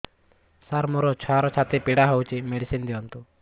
ସାର ମୋର ଛୁଆର ଛାତି ପୀଡା ହଉଚି ମେଡିସିନ ଦିଅନ୍ତୁ